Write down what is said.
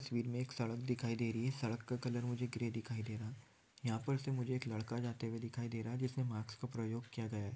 Side में एक सड़क दिखाई दे रही है सड़क का कलर मुझे ग्रे दिखाई दे रहा है यहां पर से मुझे एक लड़का जाते हुए दिखाई दे रहा है जिसने मास्क का प्रयोग किया गया है।